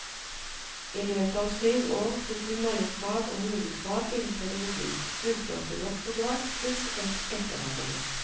I løpet av syv år tok hun mellomfag og hovedfag innen pedagogikk, fullførte doktorgrad, pluss et etterarbeid.